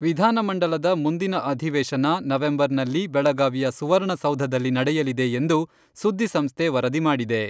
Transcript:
ವಿಧಾನಮಂಡಲದ ಮುಂದಿನ ಅಧಿವೇಶನ ನವೆಂಬರ್ನಲ್ಲಿ ಬೆಳಗಾವಿಯ ಸುವರ್ಣಸೌಧದಲ್ಲಿ ನಡೆಯಲಿದೆ ಎಂದು ಸುದ್ದಿ ಸಂಸ್ಥೆ ವರದಿ ಮಾಡಿದೆ.